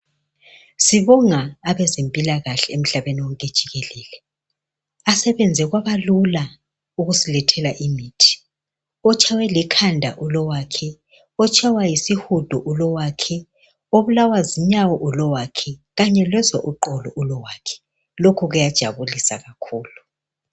Sibonga abazemphilakahle umhlabeni wonke jikelele. Asebenze kwabalula ukusilethela imithi. Utshayiwe likanda ulowakhe. Utshayuwe yisihudo ulowakhe, obulawa zinyawo ulowakhe kanye lozwa iqolo ulowakhe , lokho kuyajabulisa kakhulu.